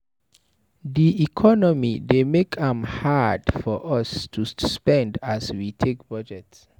Di economy dey make am hard for us to spend as we take budget.